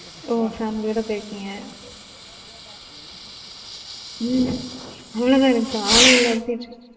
ஓ family ஓட போயிருக்கீங்க உம் அவளோ தான் இருந்துச்சா ஆளே இல்லாத theater?